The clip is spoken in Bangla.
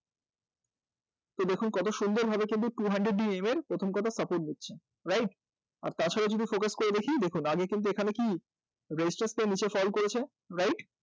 তো দেখুন কত সুন্দর কিন্তু two hundred EM এর কিন্তু support নিচ্ছে right? আর তার সাথে যদি focus করে দেখি দেখুন এখানে কিন্তু আগে কি raise factor নীচে fall করেছে right?